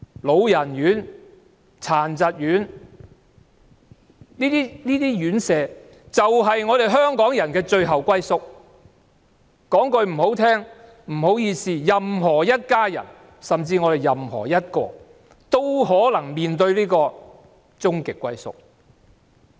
老人院和殘疾人士院舍，就是香港人的最後歸宿，說得難聽一點，任何一家人或我們當中的任何人，也可能會面對這個終極歸宿。